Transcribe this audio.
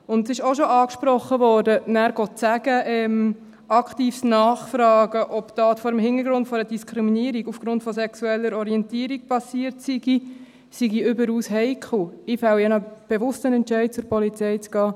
Es wurde bereits angesprochen: Dann zu sagen, aktives Nachfragen, ob die Tat vor dem Hintergrund einer Diskriminierung aufgrund sexueller Orientierung geschehen sei, sei überaus heikel – ich fälle ja einen bewussten Entscheid, zur Polizei zu gehen.